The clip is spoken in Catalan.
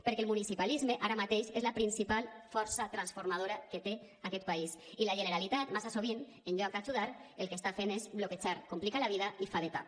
perquè el municipalisme ara mateix és la principal força transformadora que té aquest país i la generalitat massa sovint en lloc d’ajudar el que està fent és bloquejar complicar la vida i fa de tap